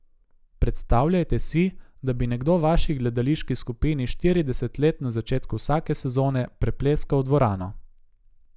Predstavljajte si, da bi nekdo vaši gledališki skupini štirideset let na začetku vsake sezone prepleskal dvorano?